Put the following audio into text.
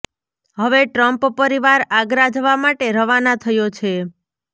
હવે ટ્રમ્પ પરિવાર આગ્રા જવા માટે રવાના થયો છે